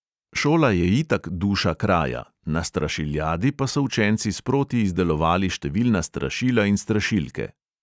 Šola je itak duša kraja, na strašiljadi pa so učenci sproti izdelovali številna strašila in strašilke.